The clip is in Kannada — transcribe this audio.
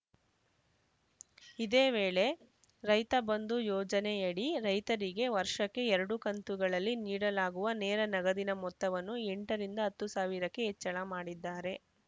ಇದೇ ವೇಳೆ ರೈತ ಬಂಧು ಯೋಜನೆಯಡಿ ರೈತರಿಗೆ ವರ್ಷಕ್ಕೆ ಎರಡು ಕಂತುಗಳಲ್ಲಿ ನೀಡಲಾಗುವ ನೇರ ನಗದಿನ ಮೊತ್ತವನ್ನು ಎಂಟರಿಂದ ಹತ್ತು ಸಾವಿರಕ್ಕೆ ಹೆಚ್ಚಳ ಮಾಡಿದ್ದಾರೆ